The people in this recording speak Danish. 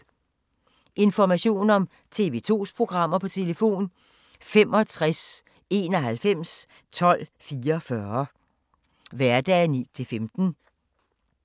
Information om TV 2's programmer: 65 91 12 44, hverdage 9-15.